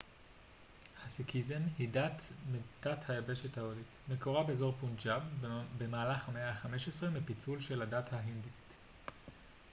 הסיקיזם היא דת מתת היבשת ההודית מקורה באזור פונג'אב במהלך המאה ה-15 מפיצול של של הדת ההינדית